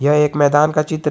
यह एक मैदान का चित्र--